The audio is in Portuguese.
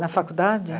Na faculdade?